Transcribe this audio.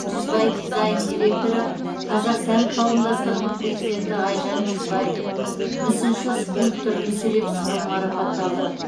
жүзбай дизайн директоры қазақ сән қауымдастығыны президенті айжан жүзбай мүсінші скульптор мүсіреп сырым марапатталды